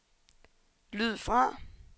lyd fra